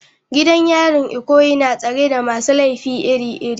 Gidan yarin Ikoyi na tsare da masu laifi iri-iri.